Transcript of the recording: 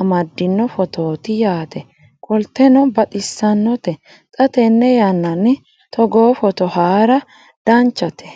amaddino footooti yaate qoltenno baxissannote xa tenne yannanni togoo footo haara danvchate